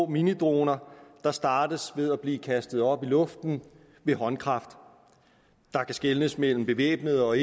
minidroner der startes ved at blive kastet op i luften ved håndkraft der kan skelnes mellem bevæbnede og